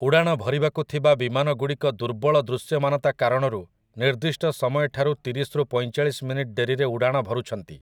ଉଡ଼ାଣ ଭରିବାକୁ ଥିବା ବିମାନଗୁଡ଼ିକ ଦୁର୍ବଳ ଦୃଶ୍ୟମାନତା କାରଣରୁ ନିର୍ଦ୍ଦିଷ୍ଟ ସମୟଠାରୁ ତିରିଶ ରୁ ପଇଁଚାଳିଶ ମିନିଟ୍ ଡେରିରେ ଉଡ଼ାଣ ଭରୁଛନ୍ତି ।